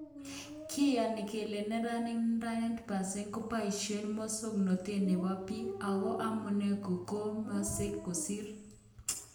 Kiyono kele neranik 90% koboishen musoknotet nebo bik, ako amune kogemosek kosir